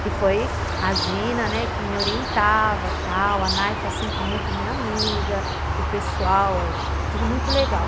que foi a Gina, né, que me orientava, tal, a Naifa sempre muito minha amiga, o pessoal, tudo muito legal.